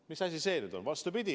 Mis asi see nüüd on?